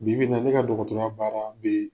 Bibi in na, ne ka ya baara bi